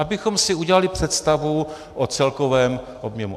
Abychom si udělali představu o celkovém objemu.